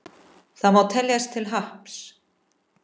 Það má teljast til happs.